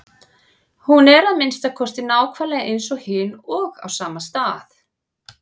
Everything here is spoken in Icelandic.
Hún er að minnsta kosti nákvæmlega eins og hin og á sama stað.